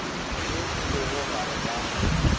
ye e lego gare ga